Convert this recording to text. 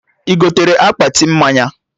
Ị gotere akpati mmanya?